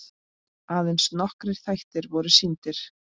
Aðeins nokkrir þættir voru sýndir.